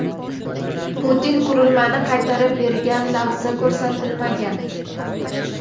Putin qurilmani qaytarib bergan lahza ko‘rsatilmagan.